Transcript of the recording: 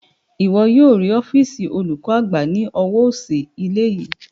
Ìwọ yóò rí ọ́fììsì olùkọ́ àgbà ní ọwọ́ òsì ilé yìí